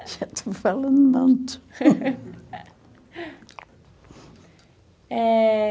já estou falando muito. Eh...